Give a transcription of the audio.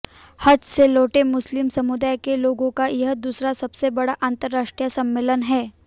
हज से लौट मुस्लिम समुदाय के लोगों का यह दूसरा सबसे बड़ा अंतरराष्ट्रीय सम्मेलन है